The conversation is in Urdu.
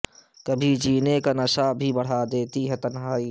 کبھی جینے کا نشہ بھی بڑھا دیتی ہے تنہائی